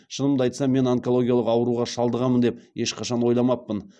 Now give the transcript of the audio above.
шынымды айтсам мен онкологиялық ауруға шалдығамын деп ешқашан ойламаппын